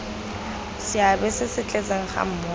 seabe se se tletseng gammogo